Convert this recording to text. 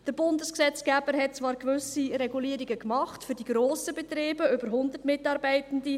Der Bundesgesetzgeber hat zwar gewisse Regulierungen gemacht, für die grossen Betriebe mit über 100 Mitarbeitenden.